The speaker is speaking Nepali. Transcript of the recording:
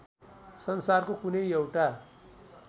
संसारको कुनै एउटा